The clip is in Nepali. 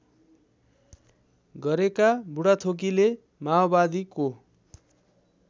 गरेका बुढाथोकीले माओवादीको